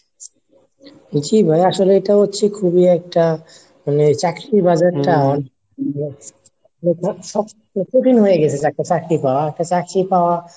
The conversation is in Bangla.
বলছি ভাইয়া আসলে এইটা হচ্ছে খুবই একটা মানে চাকরির বাজার টা কঠিন হয়ে গেছে চাকরি পাওয়া একটা চাকরি পাওয়া